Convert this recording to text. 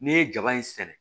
N'i ye jaba in sɛnɛ